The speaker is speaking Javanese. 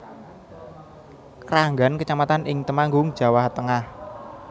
Kranggan kecamatan ing Temanggung Jawa Tengah